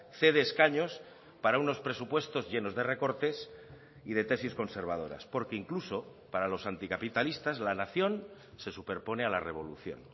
cede escaños para unos presupuestos llenos de recortes y de tesis conservadoras porque incluso para los anticapitalistas la nación se superpone a la revolución